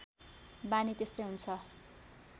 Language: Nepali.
बानी त्यस्तै हुन्छ